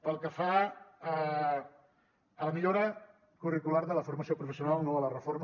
pel que fa a la millora curricular de la formació professional no a la reforma